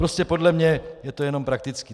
Prostě podle mě je to jenom praktické.